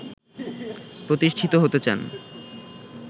প্রতিষ্ঠিত হতে চান